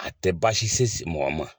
A tɛ baasi si se mɔɔ ma.